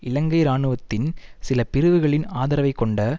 இலங்கை இராணுவத்தின் சில பிரிவுகளின் ஆதரவைக் கொண்ட